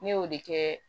Ne y'o de kɛ